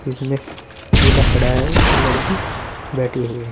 जिसमें दूल्हा खड़ा है और लड़की बैठी हुई है।